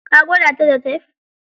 Ka gwada ta da tef?